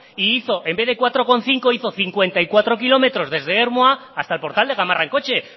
e hizo en vez de cuatro coma cinco hizo cincuenta y cuatro kilómetros desde ermua hasta el portal de gamarra en coche